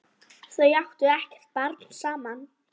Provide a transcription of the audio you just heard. Þau áttu ekkert barn saman.